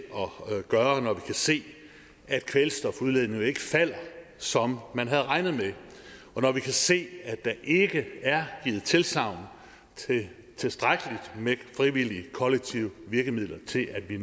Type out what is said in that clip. gøre når vi kan se at kvælstofudledningen jo ikke falder som man havde regnet med og når vi kan se at der ikke er givet tilsagn til tilstrækkelig med frivillige kollektive virkemidler til at vi